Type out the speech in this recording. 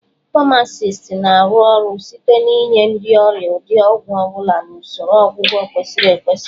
Famacist na-arụ ọrụ site n'inye ndị ọrịa ụdị ọgwụ ọ bụla na usoro ọgwụgwọ kwesịrị ekwesị